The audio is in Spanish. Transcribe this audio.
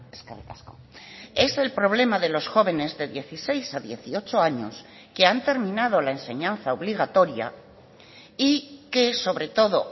eskerrik asko es el problema de los jóvenes de dieciséis a dieciocho años que han terminado la enseñanza obligatoria y que sobre todo